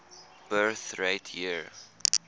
birth rate year